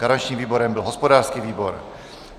Garančním výborem byl hospodářský výbor.